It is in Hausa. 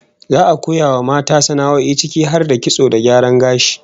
Za'a koya wa mata sana'o'i ciki har da kitso da gyaran gashi